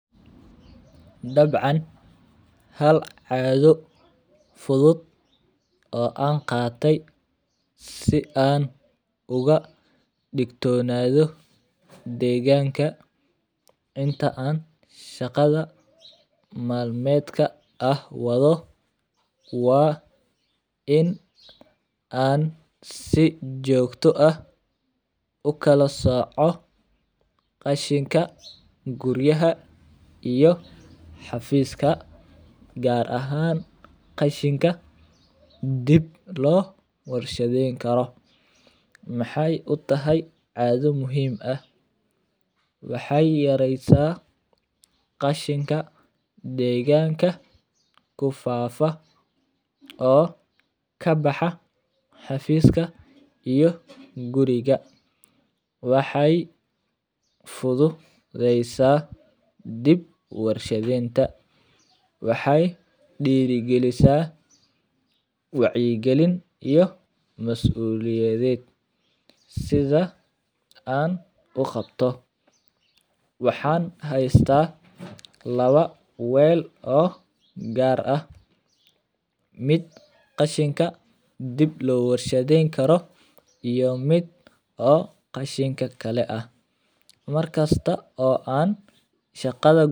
Dabcan hal caggo fudud oo an qate si an uga digtonadhi deganka inta an shaqadha malmodka wadho waa in an si jogto ah ukala soco suqa iyo xafiska gar ahan qashinka dib lo qorsheyn karo, maxee utahay shaqo muhiim ah waxee yareysa qashinka beeganka kufafa oo kabaxa xafiska iyo guriga, waxee fududeysa bid warshaadenta waxee dira galisa wacyi galin iyo mas uliyaded sitha an u qabto waxan haysta lawa weel oo gar miid qashinka dib lawar shaden kalo midka kale ah mar kasta oo an shaqadan.